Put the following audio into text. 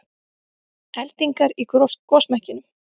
Eldingar í gosmekkinum